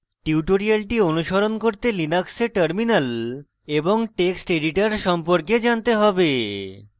tutorial অনুসরণ করতে linux terminal এবং text editor সম্পর্কে জানতে have